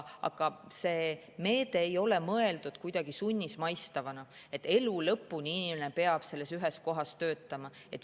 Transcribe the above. Aga see meede ei ole mõeldud kuidagi sunnismaistavana, et elu lõpuni peab inimene selles ühes kohas töötama.